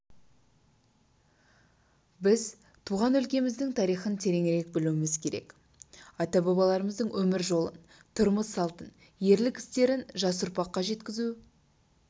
біз туған өлкеміздің тарихын тереңірек білуіміз керек ата-бабаларымыздың өмір жолын тұрмыс-салтын ерлік істерін жас ұрпаққа жеткізу